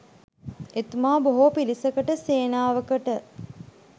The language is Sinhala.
එතුමා බොහෝ පිරිසකට සේනාවකට